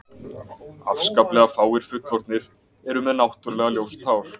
Afskaplega fáir fullorðnir eru með náttúrulega ljóst hár.